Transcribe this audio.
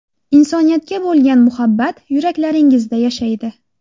Insoniyatga bo‘lgan muhabbat yuraklaringizda yashaydi!